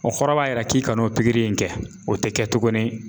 O kɔrɔ b'a yira k'i kan'o pikiri in kɛ o tɛ kɛ tuguni.